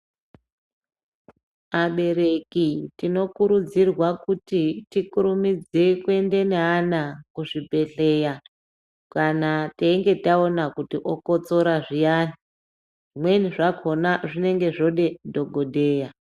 Abereki tinokurudzirwa kuti tikurumidze kuenda neana kuzvibhedhlera kana teinge taona kuti okotsora zviyani zvimweni zvakona zvinenge zvode dhokodheya.